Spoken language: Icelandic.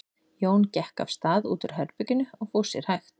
Jón gekk af stað út úr herberginu og fór sér hægt.